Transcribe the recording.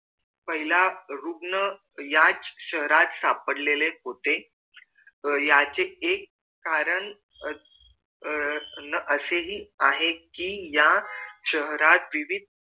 पहिला रुग्ण याच शहरात सापडलेले होते याचे एक कारण अह असेहि आहे कि या शहरात विविध